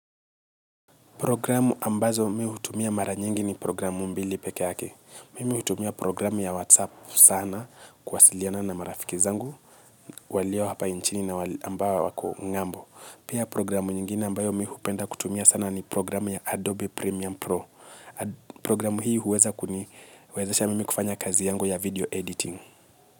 Programu ambazo mimi hutumia mara nyingi ni programu mbili pekee yake. Mimi hutumia programu ya WhatsApp sana kuasiliana na marafiki zangu. Walio hapa nchini na ambao wako ngambo. Pia programu nyingine ambayo mimi hupenda kutumia sana ni programu ya Adobe Premium Pro. Programu hii huwezesha mimi kufanya kazi yangu ya video editing.